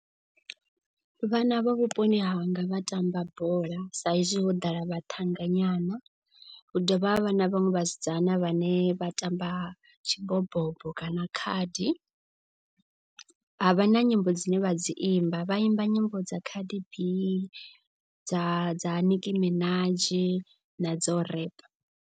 Vhana vha vhuponi hanga vha tamba bola sa izwi ho ḓala vhaṱhanga nyana. Hu dovha ha vha na vhaṅwe vhasidzana vhane vha tamba tshi bobobo kana khadi. Ha vha na nyimbo dzine vha dzi imba vha imba nyimbo dza Cardi B dza dza Nicky Minaj na dzo rap.